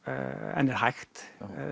en er hægt